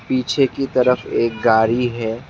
पीछे की तरफ एक गारी है।